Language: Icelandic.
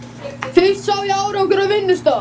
Fyrst sá ég árangur á vinnustað.